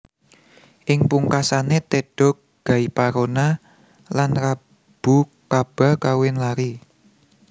Ing pungkasané Teda Gaiparona lan Rabu Kaba kawin lari